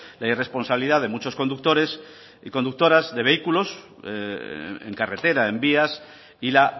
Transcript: la irresponsabilidad de muchos conductores y conductoras de vehículos en carretera en vías y la